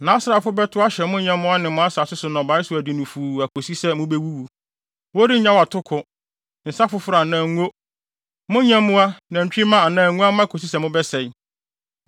Nʼasraafo bɛtow ahyɛ mo nyɛmmoa ne mo asase so nnɔbae so adi no fuu akosi sɛ mubewuwu. Wɔrennyaw atoko, nsa foforo anaa ngo; mo nyɛmmoa nantwimma anaa nguamma kosi sɛ mobɛsɛe.